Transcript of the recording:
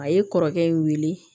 A ye kɔrɔkɛ in wele